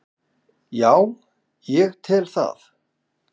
Já ég tel það.